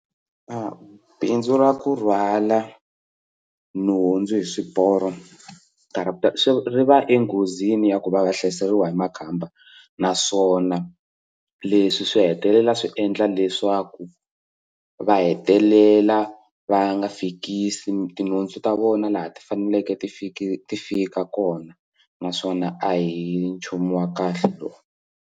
A bindzu ra ku rhwala nhundzu hi swiporo ri va enghozini ya ku va va hlaseriwa hi makhamba naswona leswi swi hetelela swi endla leswaku va hetelela va nga fikisi tinhundzu ta vona laha ti faneleke ti fiki ti fika kona naswona a hi nchumu wa kahle lowu.